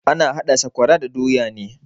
Ana hada sakwara da doya ne.